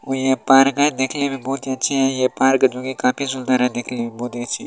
वो ये पार्क है देखने में बहुत ही अच्छी है ये पार्क जो कि काफी सुन्दर है देखने में बहुत ही अच्छी।